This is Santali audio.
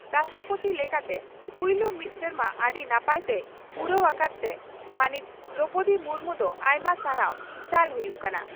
ᱨᱟᱥᱴᱨᱚᱯᱳᱛᱤ ᱞᱮᱠᱟᱛᱮ ᱯᱩᱭᱞᱩ ᱢᱤᱫ ᱥᱮᱨᱢᱟ ᱟᱹᱰᱤ ᱱᱟᱯᱟᱭ ᱛᱮᱭ ᱯᱩᱨᱟᱹᱣ ᱟᱠᱟᱫ ᱛᱮ ᱢᱟᱹᱱᱤᱡ ᱫᱨᱚᱣᱯᱚᱫᱤ ᱢᱩᱨᱢᱩ ᱫᱚ ᱟᱭᱢᱟ ᱥᱟᱨᱦᱟᱣ ᱪᱟᱞ ᱦᱩᱭᱩᱜ ᱠᱟᱱᱟ ᱾